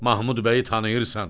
Mahmud bəyi tanıyırsan?